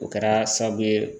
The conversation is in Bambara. O kɛra sababu ye